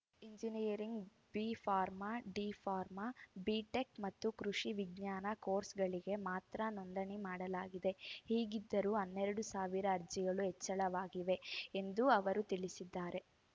engineering B pharma D pharma B tech ಮತ್ತು ಕೃಷಿ ವಿಜ್ಞಾನ ಕೋರ್ಸ್‌ಗಳಿಗೆ ಮಾತ್ರ ನೋಂದಣಿ ಮಾಡಲಾಗಿದೆ ಹೀಗಿದ್ದರೂ ಹನ್ನೆರಡು ಸಾವಿರ ಅರ್ಜಿಗಳು ಹೆಚ್ಚಳವಾಗಿವೆ ಎಂದು ಅವರು ತಿಳಿಸಿದ್ದಾರೆ